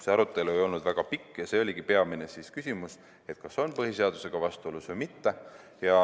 See arutelu ei olnud väga pikk ja peamine küsimus oligi see, kas on põhiseadusega vastuolu või mitte.